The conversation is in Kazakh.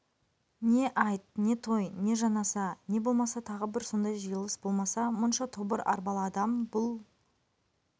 не айт не той не жаназа не болмаса тағы бір сондай жиылыс болмаса мұнша тобыр арбалы адам бұл